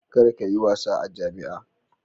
Kar ka yi wasa a jami'a.